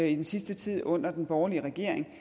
i den sidste tid under den borgerlige regering